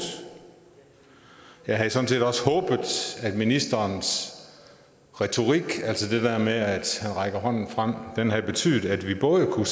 jeg havde sådan set også håbet at ministerens retorik altså det der med at han rækker hånden frem havde betydet at vi både kunne